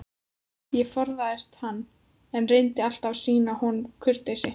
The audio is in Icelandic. Ég forðaðist hann, en reyndi alltaf að sýna honum kurteisi.